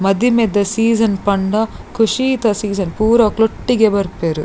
ಮದಿಮೆದ ಸೀಸನ್ ಪಂಡ ಖುಷೀ ತ ಸೀಸನ್ ಪೂರಕ್ಲ್ ಒಟ್ಟೊಟ್ಟಿಗೆ ಬರ್ಪೆರ್.